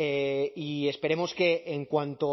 y esperemos que en cuanto